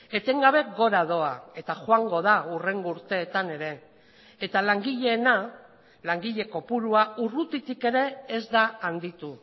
etengabe gora doa eta joango da hurrengo urteetan ere eta langileena langile kopurua urrutitik ere ez da handitu